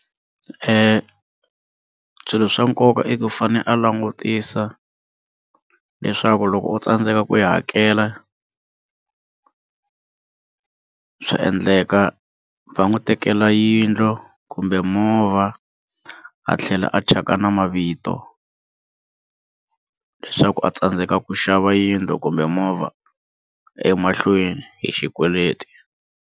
Swilo swa nkoka i ku i fane a langutisa leswaku loko o tsandzeka ku yi hakela swa endleka va n'wi tekela yindlu kumbe movha a tlhela a thyaka na mavito leswaku a tsandzeka ku xava yindlu kumbe movha emahlweni hi xikweleti.